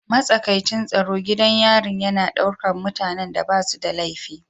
Matsakaicin tsaro gidan yarin yana ɗaukar mutanen da ba su da laifi